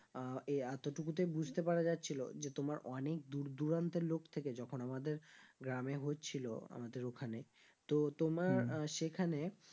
আহ এই এতটুকুতেই বুঝতে পারা যাচ্ছিল যে তোমার অনেক দূর দুরান্ত লোক থেকে যখন আমাদের গ্রামে হচ্ছিল আমাদের ওইখানে তো তোমার আহ সেখানে